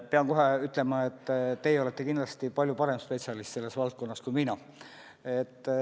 Pean kohe ütlema, et teie olete kindlasti palju parem spetsialist selles valdkonnas kui mina.